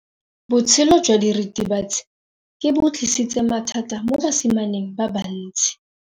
Botshelo jwa diritibatsi ke bo tlisitse mathata mo basimaneng ba bantsi.